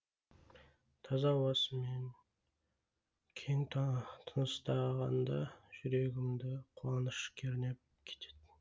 таза ауасымен кең тыныстағанда жүрегімді қуаныш кернеп кететін